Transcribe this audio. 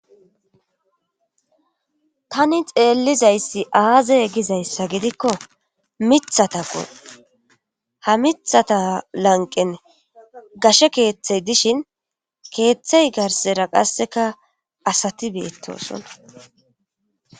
tani xeelizayssi aaze gizayssa gidikko mithatako ha mithata lanqen gashe keeththey dishin keeththay garsera qasseka asati beettosona